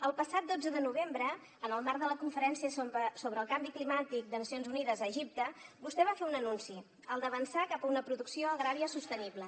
el passat dotze de novembre en el marc de la conferència sobre el canvi climàtic de nacions unides a egipte vostè va fer un anunci el d’avançar cap a una producció agrària sostenible